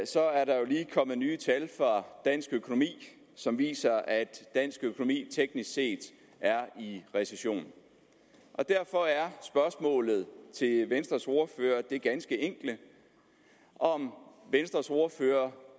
så er der jo lige kommet nye tal for dansk økonomi som viser at dansk økonomi teknisk set er i recession derfor er spørgsmålet til venstres ordfører det ganske enkle om venstres ordfører